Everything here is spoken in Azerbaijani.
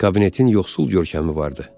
Kabinetin yoxsul görkəmi vardı.